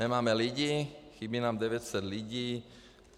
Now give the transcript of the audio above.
Nemáme lidi - chybí nám 900 lidí.